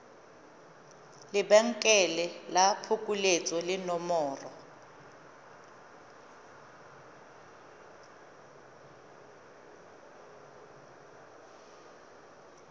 lebenkele la phokoletso le nomoro